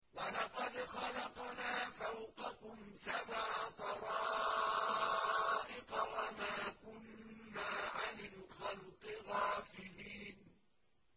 وَلَقَدْ خَلَقْنَا فَوْقَكُمْ سَبْعَ طَرَائِقَ وَمَا كُنَّا عَنِ الْخَلْقِ غَافِلِينَ